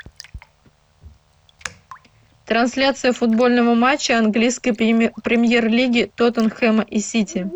трансляция футбольного матча английской премьер лиги тоттенхэма и сити